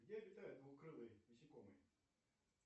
где обитают двукрылые насекомые